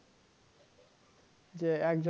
যে এক